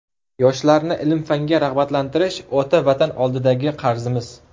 Yoshlarni ilm-fanga rag‘batlantirish ota Vatan oldidagi qarzimiz.